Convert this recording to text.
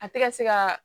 A tɛ ka se ka